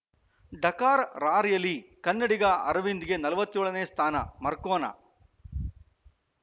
Dakar rally ಕನ್ನಡಿಗ ಅರವಿಂದ್‌ಗೆ ನಲವತ್ತ್ ಏಳನೇ ಸ್ಥಾನ ಮರ್ಕೊನಾ